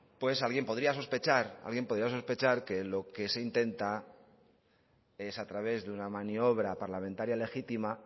alguien podría sospechar que lo que se intenta es a través de una maniobra parlamentaria legítima